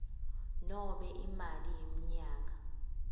nobe imali yemnyaka